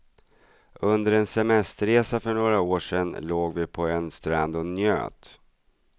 Under en semesterresa för några år sedan låg vi på en strand och njöt.